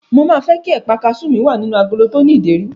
Mo máa fẹ́ kí ẹ̀pà kasú mi wà nínú agolo tó ní ìdérí.